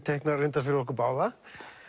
teiknar reyndar fyrir okkur báða